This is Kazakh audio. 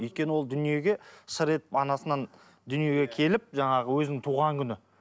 өйткені ол дүниеге шыр етіп анасынан дүниеге келіп жаңағы өзінің туған күні